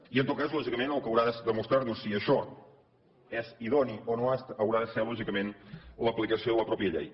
i en tot cas lògicament el que haurà de demostrar nos si això és idoni o no ho és haurà de ser lògicament l’aplicació de la mateixa llei